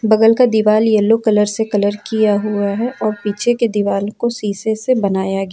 बगल का दिवाली येलो कलर से कलर किया हुआ है और पीछे के दीवाल को शीशे से बनाया गया--